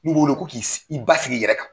ko k'i i basigi i yɛrɛ kan.